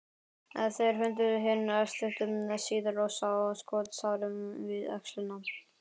Þeir fundu hinn stuttu síðar og sáu skotsárið við öxlina.